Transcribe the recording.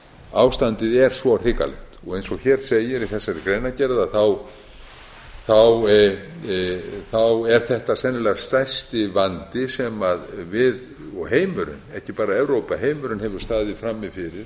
ástandið er svo hrikalegt eins og hér segir í þessari greinargerð er þetta sennilega stærsti vandi sem við og heimurinn ekki bara evrópa heimurinn hefur staðið frammi fyrir